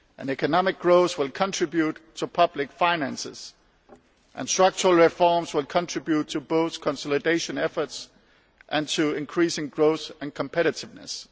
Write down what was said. Economic growth will contribute to public finances, and structural reforms will contribute both to consolidation efforts and to increasing growth and competitiveness.